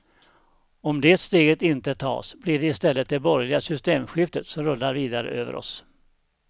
Om det steget inte tas blir det i stället det borgerliga systemskiftet som rullar vidare över oss.